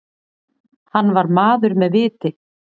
Hann var maður með viti.